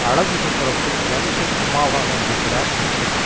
அழகு சுந்தரத்தில் தனுஷின் அம்மாவாக நடிக்கிறார் அர்ச்சனா